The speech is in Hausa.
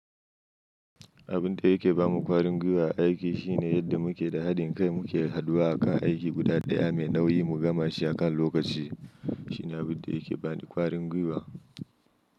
Abin da yake ba mu ƙwarin gwiwa a aiki shine yadda muke da haɗin kai muke haduwa akan aiki guda ɗaya mai nauyi mu gama shi akan lokaci. Shi ne abin da yake bani ƙwarin gwiwa.